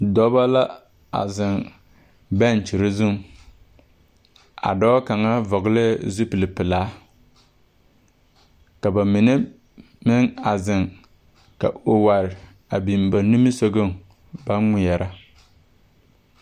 Dɔbɔ la a zeŋ bɛɛkyere zuŋ a dɔɔ kaŋa vɔgleɛɛ zupilepealaa ka bamine a meŋ a zeŋ ka oware a biŋ ba nimisɔgɔŋ baŋ ŋmeɛrɛ.